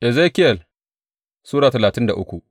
Ezekiyel Sura talatin da uku